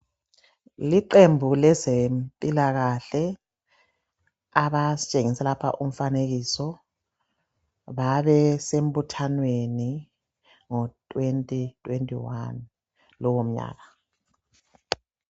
Liqembu lezemphilakahle, abastshengise lapha kumfanekiso, babesembuthanwe ngo 2021 lo munyaka.